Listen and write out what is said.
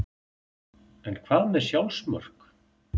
En hvað með sjálfsmörk?